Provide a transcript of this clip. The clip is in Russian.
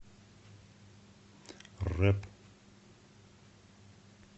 рэп